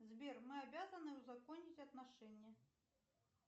сбер мы обязаны узаконить отношения